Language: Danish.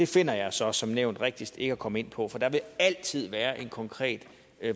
finder jeg så som nævnt rigtigst ikke at komme ind på for det vil altid være en konkret